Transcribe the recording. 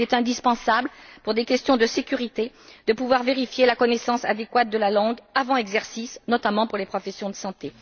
Il est indispensable, pour des questions de sécurité, de pouvoir vérifier la connaissance adéquate de la langue, avant exercice, notamment pour les professions de santé.